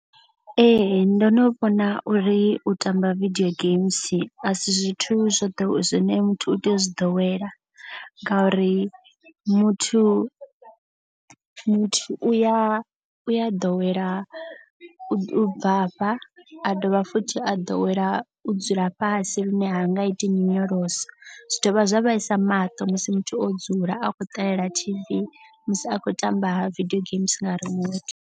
Ee ndo no vhona uri u tamba video games a si zwithu zwine muthu u tea u zwi ḓowela. Ngauri muthu muthu uya u ya ḓowela u bvafha a dovha futhi a ḓowela u dzula fhasi lune ha nga iti nyonyoloso. Zwi dovha zwa vhaisa maṱo musi muthu o dzula a khou ṱalela T_V. Musi a khou tamba video games nga remote.